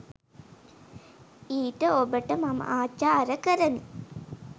ඊට ඔබට මම අචාර කරමි